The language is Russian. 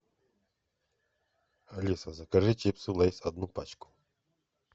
алиса закажи чипсы лейс одну пачку